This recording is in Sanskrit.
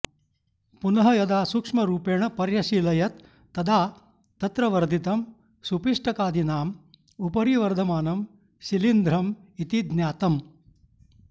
पुनः यदा सूक्ष्मरूपेण पर्यशीलयत् तदा तत्र वर्धितं सुपिष्टकादीनाम् उपरि वर्धमानं शिलीन्ध्रम् इति ज्ञातम्